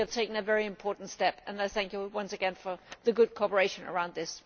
I think we have taken a very important step and I thank you once again for your good cooperation on this.